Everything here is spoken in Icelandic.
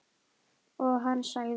Og hann sagði